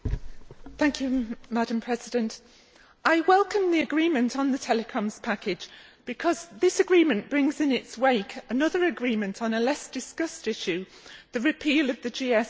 Madam President, I welcome the agreement on the telecoms package because this agreement brings in its wake another agreement on a less discussed issue the repeal of the GSM Directive.